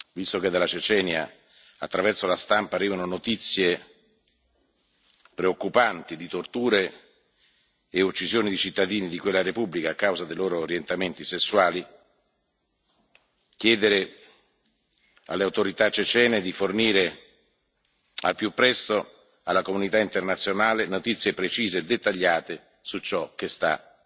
visto che dalla Cecenia attraverso la stampa arrivano notizie preoccupanti di torture e uccisioni di cittadini di quella Repubblica a causa dei loro orientamenti sessuali, volevo chiedere alle autorità cecene di fornire al più presto alla comunità internazionale notizie precise e dettagliate su ciò che sta